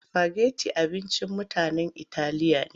Sifageti abincin mutanen italiya ne.